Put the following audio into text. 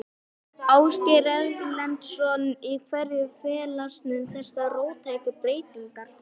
Ásgeir Erlendsson: Í hverju felast þessar róttæku breytingar?